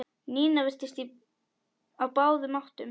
Nína virtist á báðum áttum.